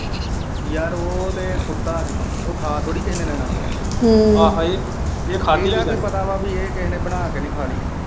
ਯਾਰ ਉਹ ਤੇ ਕੁੱਤਾ ਹੀ ਉਹ ਖਾ ਥੋੜੀ ਕਿਹੇ ਨੇ ਲੈਣਾ ਇਹਦਾ ਕੀ ਪਤਾ ਵਾ ਕੇ ਕਿਹੇ ਨੇ ਬਣਾ ਕੇ ਨਹੀਂ ਖਾਲੀ।